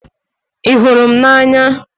Ị hụrụ m n'anya?